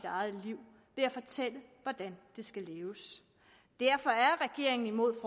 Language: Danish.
eget liv ved at fortælle dem hvordan det skal leves derfor er regeringen imod